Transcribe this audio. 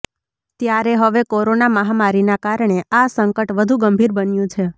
ત્યારે હવે કોરોના મહામારીના કારણે આ સંકટ વધુ ગંભીર બન્યું છે